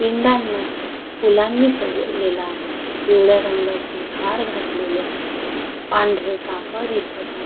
पिंडांना फुलांनी सजवलेली आहे पिवळ्या रंगाचे हार घातलेले आहेत पांढरे कापड दिसत आहे.